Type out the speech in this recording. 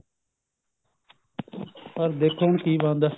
ਪਰ ਦੇਖੋ ਹੁਣ ਕੀ ਬਣਦਾ